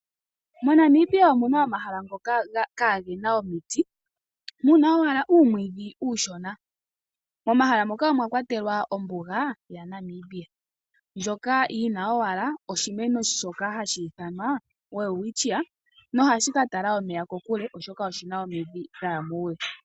MoNamibia omuna omahala ngoka kaagena omiti, muna owala uumwiidhi uushona ,momahala moka omwa kwatelwa ombuga yaNamibia ndjoka yina owala oshimeno shoka hashi ithanwa Welwitchia nohashi ka tala omeya kokule oshoka oshina omidhi dhaya muule.